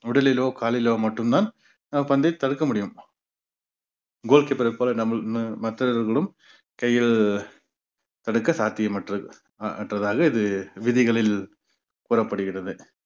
உடலிலோ காலிலோ மட்டும்தான் அஹ் பந்தை தவிர்க்க முடியும் goal keeper ர போல நம்மல்~ ம~ மற்றவர்களும் கையில் தடுக்க சாத்தியமற்றது அஹ் அற்றதாக இது விதிகளில் கூறப்படுகிறது